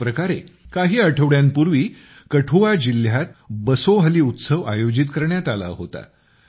ह्याच प्रकारे काही आठवड्यांपूर्वी कठुआ जिल्ह्यात बसोहली उत्सव आयोजित करण्यात आला होता